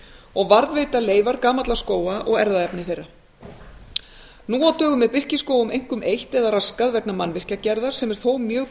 og varðveita leifar gamalla skóga og erfðaefni þeirra nú á dögum er birkiskógum einkum eytt eða raskað vegna mannvirkjagerðar sem er þó mjög